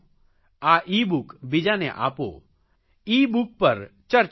આ ઇબુક બીજાને આપો